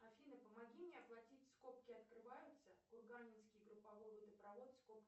афина помоги мне оплатить скобки открываются курганинский групповой водопровод скобки